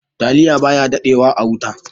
"Taliya" baya daɗe wa a wuta.